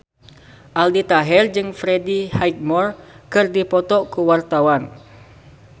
Aldi Taher jeung Freddie Highmore keur dipoto ku wartawan